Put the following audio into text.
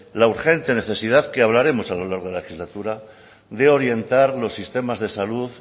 la urgente necesidad que hablaremos a lo largo de la legislatura de orientar los sistemas de salud